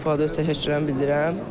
Öz təşəkkürümü bildirirəm